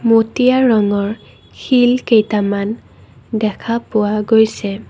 মটীয়া ৰঙৰ শিল কেইটামান দেখা পোৱা গৈছে।